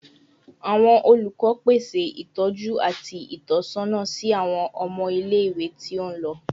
Awọn olukọ pese itọju ati itọsọna si awọn ọmọ ile-iwe ti o nilo